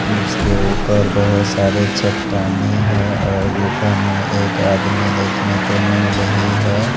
जिसके ऊपर बहुत सारे चट्टानें हैं और गुफा में एक आदमी देखने को मिल रही है।